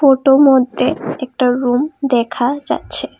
Photo মদ্যে একটা room দেখা যাচ্ছে।